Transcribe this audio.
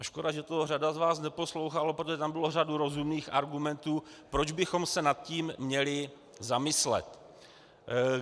A škoda, že to řada z vás neposlouchala, protože tam byla řada rozumných argumentů, proč bychom se nad tím měli zamyslet.